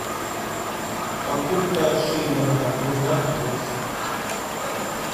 покупка шиллинга узнать курс